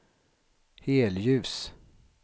helljus